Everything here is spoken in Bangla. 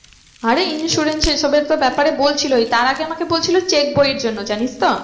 আরে insurance সে সবের তো ব্যাপারে বলছিলই তার আগে আমাকে বলছিলো check বই এর জন্য জানিস তো।